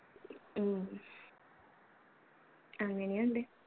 ഉം അങ്ങനെയുണ്ട്.